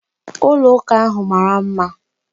Ụlọ ụka ahu mara mma.